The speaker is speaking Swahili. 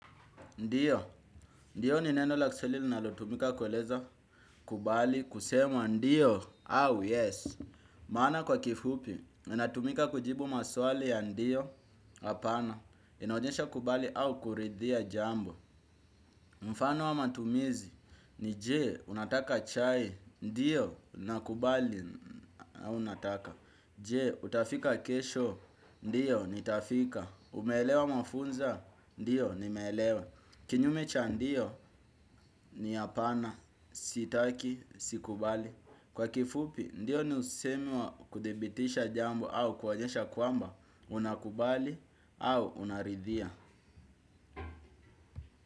Ndiyo, ndiyo ni neno la kiswahili linalotumika kueleza kubali kusema ndiyo au yes. Maana kwa kifupi, inatumika kujibu maswali ya ndiyo hapana, inaonyesha kubali au kuridhia jambo. Mfano wa matumizi, ni je, unataka chai, ndiyo, nakubali au nataka. Je, utafika kesho, ndiyo, nitafika. Umeelewa mafunza, ndiyo, nimeelewa. Kinyume cha ndio ni hapana sitaki, sikubali. Kwa kifupi, ndio ni usemi wa kudhibitisha jambo au kuonyesha kwamba unakubali au unaridhia.